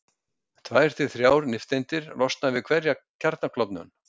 Tvær til þrjár nifteindir losna við hverja kjarnaklofnun.